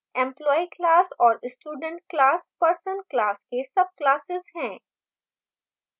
employee class और student class person class के subclasses हैं